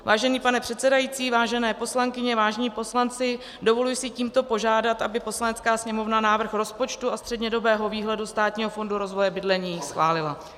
Vážený pane předsedající, vážené poslankyně, vážení poslanci, dovoluji si tímto požádat, aby Poslanecká sněmovna návrh rozpočtu a střednědobého výhledu Státního fondu rozvoje bydlení schválila.